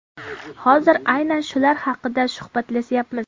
Hozir aynan shular haqida suhbatlashamiz.